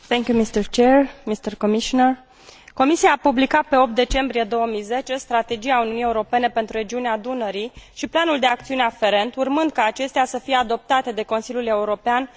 Comisia a publicat pe 8 decembrie 2010 Strategia Uniunii Europene pentru regiunea Dunării și Planul de acțiune aferent, urmând ca acestea să fie adoptate de Consiliul European pe perioada Președinției ungare a Uniunii.